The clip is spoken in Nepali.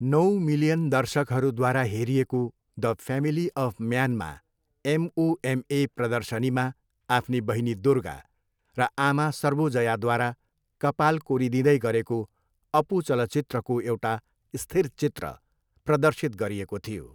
नौ मिलियन दर्शकहरूद्वारा हेरिएको द फ्यामिली अफ म्यानमा एमओएमए प्रदर्शनीमा आफ्नी बहिनी दुर्गा र आमा सर्वोजयाद्वारा कपाल कोरिदिँदै गरेको अपू चलचित्रको एउटा स्थिर चित्र प्रदर्शित गरिएको थियो।